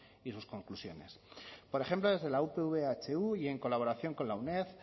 y sus conclusiones por ejemplo desde la upv ehu y en colaboración con la uned